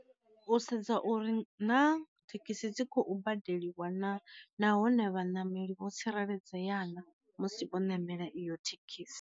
U sedza uri na thekhisi dzi khou badeliwa na nahone vhaṋameli vho tsireledzea na musi vho namela iyo thekhisi.